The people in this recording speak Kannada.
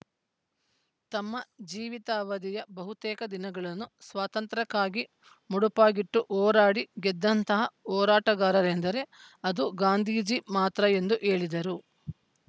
ತಮ್ಮ ಜೀವಿತಾವಾಧಿಯ ಬಹುತೇಕ ದಿನಗಳನ್ನು ಸ್ವಾತಂತ್ರ್ಯಕ್ಕಾಗಿ ಮುಡುಪಾಗಿಟ್ಟು ಹೋರಾಡಿ ಗೆದ್ದಂತಹ ಹೋರಾಟಗಾರರೆಂದರೆ ಅದು ಗಾಂಧೀಜಿ ಮಾತ್ರ ಎಂದು ಹೇಳಿದರು